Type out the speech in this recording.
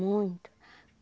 Muito.